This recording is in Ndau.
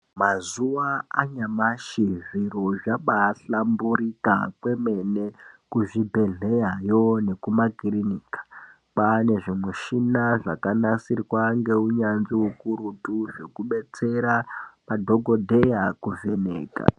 Mazuwa anyamashi zviro zvabahlamburuka kwemene kuzvibhedhlerayo nekumakiriniki kwane zvimuchina zvakanasirwa ngeunyanzvi ukurutu zvekubetsera madhokodheya kuvheneka.